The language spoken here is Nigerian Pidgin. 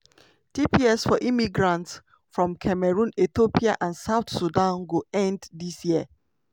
about one million immigrants from seventeenkontris – 5 for africa – dey protected by by di tps programme.